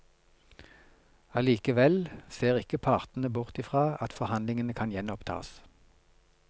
Allikevel ser ikke partene bort i fra at forhandlingene kan gjenopptas.